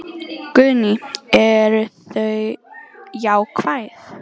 Guðný: Eru þau jákvæð?